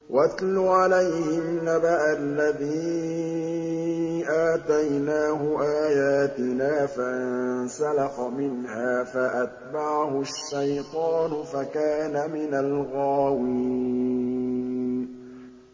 وَاتْلُ عَلَيْهِمْ نَبَأَ الَّذِي آتَيْنَاهُ آيَاتِنَا فَانسَلَخَ مِنْهَا فَأَتْبَعَهُ الشَّيْطَانُ فَكَانَ مِنَ الْغَاوِينَ